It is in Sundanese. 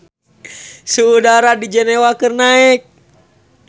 Suhu udara di Jenewa keur naek